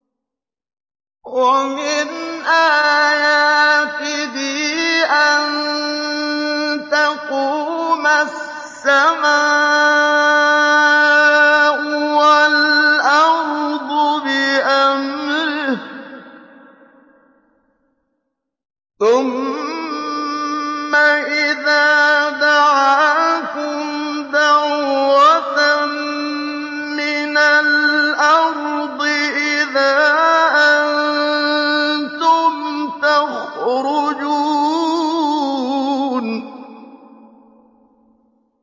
وَمِنْ آيَاتِهِ أَن تَقُومَ السَّمَاءُ وَالْأَرْضُ بِأَمْرِهِ ۚ ثُمَّ إِذَا دَعَاكُمْ دَعْوَةً مِّنَ الْأَرْضِ إِذَا أَنتُمْ تَخْرُجُونَ